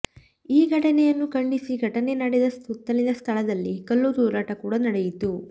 ಈ ಘಟನೆಯನ್ನು ಖಂಡಿಸಿ ಘಟನೆ ನಡೆದ ಸುತ್ತಲಿನ ಸ್ಥಳದಲ್ಲಿ ಕಲ್ಲು ತೂರಾಟ ಕೂಡ ನಡೆಯಿತು